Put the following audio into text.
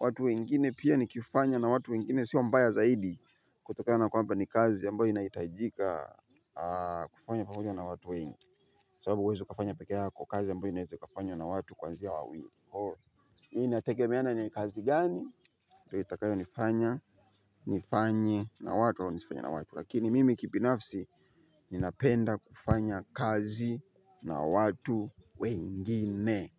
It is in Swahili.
watu wengine pia nikifanya na watu wengine sio mbaya zaidi kutokana na kwamba ni kazi ambayo inahitajika. Kufanywa pamoja na watu wengi sababu huwezi ukafanya peke yako kazi ambayo inaweza ikafanywa na watu kuanzia wawili hii inagemea na ni kazi gani ndio itakayonifanya nifanye na watu au nisifanye na watu lakini mimi kibinafsi ninapenda kufanya kazi na watu wengine.